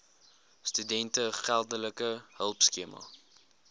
studente geldelike hulpskema